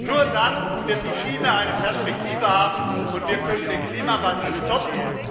Nur dann wird die Schiene eine Perspektive haben, und wir können den Klimawandel stoppen.